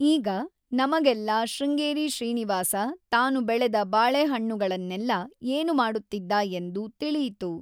ಈಗ, ನಮಗೆಲ್ಲಾ ಶೃಂಗೇರಿ ಶ್ರೀನಿವಾಸ ತಾನು ಬೆಳೆದ ಬಾಳೆಹಣ್ಣುಗಳನ್ನೆಲ್ಲಾ ಏನು ಮಾಡುತ್ತಿದ್ದ ಎಂದು ತಿಳಿಯಿತು!